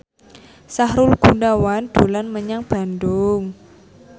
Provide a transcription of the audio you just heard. Sahrul Gunawan dolan menyang Bandung